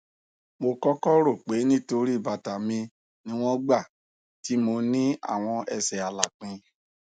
mo kọkọ ro pe nitori bata mi niwọn igba ti mo ni awọn ẹsẹ alapin